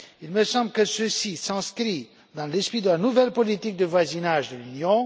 Il me semble que ceci s'inscrit dans l'esprit de la nouvelle politique de voisinage de l'Union.